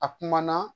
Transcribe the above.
A kuma na